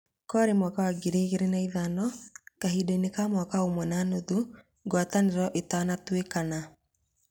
Kwarĩ mwaka wa ngirĩ igĩrĩ na ithano kahindainĩ ka mwaka ũmwe na nuthũngawatanĩro itũitanatinĩkana